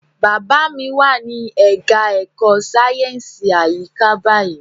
Bàbá mi wà ní ẹka ẹ̀kọ́ sáyẹnsì àyíká báyìí.